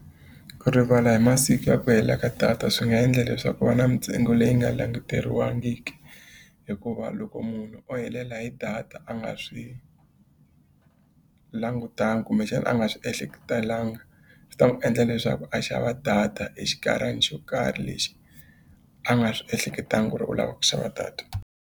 Ku rivala hi masiku ya ku hela ka data swi nga endla leswaku ku va na mintsengo leyi nga languteriwangiku. Hikuva loko munhu o helela hi data a nga swi langutanga kumbexana a nga swi ehleketelanga, swi ta n'wi endla leswaku a xava data hi xinkarhana xo karhi lexi a nga swi ehleketanga ku ri u lava ku xava data.